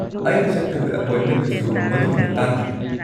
ꯑꯩꯅ ꯆꯠꯇꯣꯏꯕ ꯑꯦꯄꯣꯏꯟꯃꯦꯟꯗꯨꯁꯨ ꯃꯗꯨꯒꯤ ꯃꯇꯥꯡꯒꯤꯅꯤ꯫